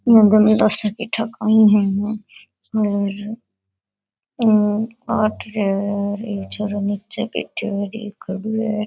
एक छोरा नीचे बैठ्या --